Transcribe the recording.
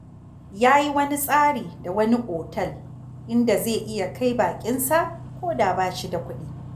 Ya yi wani tsari da wani otel, inda zai iya kai baƙinsa ko da ba shi da kuɗi